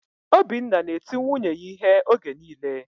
Obinna na-eti nwunye ya ihe oge niile